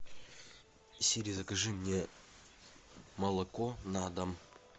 сири закажи мне молоко на дом